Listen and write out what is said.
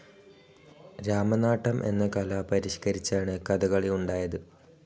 രാമനാട്ടം എന്ന കല പരിഷ്ക്കരിച്ചാണ് കഥകളി ഉണ്ടായത്.